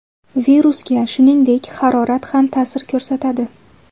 Virusga, shuningdek, harorat ham ta’sir ko‘rsatadi.